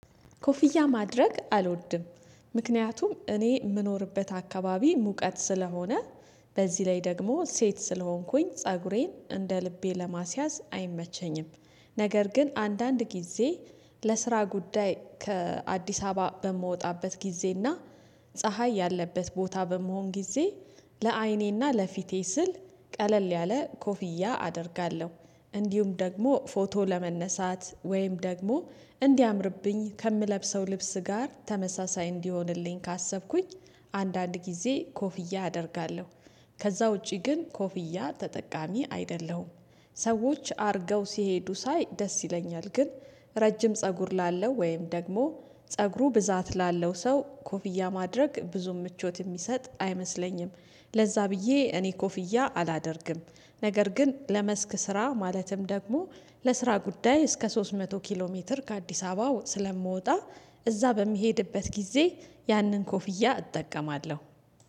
ኮፍያ ማድረግ አልወድም ምክንያቱም እኔ የምኖርበት አካባቢ ሙቀት ስለሆነ በዚህ ላይ ደግሞ ሴት ስለሆንኩኝ ፀጉሬን እንደ ልቤ ለማስያዝ አይመቸኝም። ነገር ግን አንዳንድ ጊዜ ለስራ ጉዳይ ከአዲስ አበባ በምወጣበት ጊዜና ፀሀይ ያለበት ቦታ በምሆን ጊዜ ለአይኔና ለፊቴ ስል ቀለል ያለ ኮፍያ አደርጋለሁ። እንዲሁም ደግሞ ፎቶ ለመነሳት ወይም ደግሞ እንዲያምርብኝ ከምለብሰው ልብስ ጋር ተመሳሳይ እንዲሆንልኝ ካሰብኩኝ አንዳንድ ጊዜ ኮፍያ አደርጋለሁ። ከዛ ውጪ ግን ኮፍያ ተጠቃሚ አይደለሁም። ሰዎች አድርገው ሲሄዱ ሳይ ደስ ይለኛል። ግን ረጅም ፀጉር ላለው ወይም ደግሞ ፀጉሩ ብዛት ላለው ሰው ኮፍያ ማድረግ ብዙ ምቾት የሚሰጥ አይመስለኝም። ለዛ ብዬ እኔ ኮፍያ አላደርግም። ነገር ግን ለመስክ ስራ ማለትም ደግሞ ለስራ ጉዳይ እስከ ሶስት መቶ ኪሎ ሜትር ከአዲስ አበባ ስለምወጣ እዛ በሚሄድበት ጊዜ ያንን ኮፍያ እጠቀማለሁ።